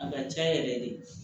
A ka ca yɛrɛ de